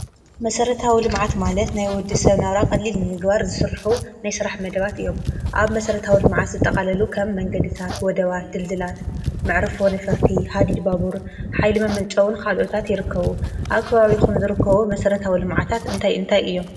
መሠረታውልመዓት ማለት ናይ ወዲ ሰብ ናብራ ቐሊል እንግባር ዝሥርኁ ናይሥራሕ መደባት እዮም ኣብ መሠረታው ልመዓት ዝጠቓለሉ ኸም መንገድታት ወደዋ ትልዝላት ምዕርፉ ንፈርቲ ሃዲድባቡር ኃይሊ መመንጨውን ኻልኦታት ይርከቡ ኣብ ክባብኹን ዝርከቡ መሠረታዊ ልማዓታት እንይእንታይ እዮም፡፡